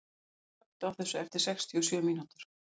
Finnlaugur, slökktu á þessu eftir sextíu og sjö mínútur.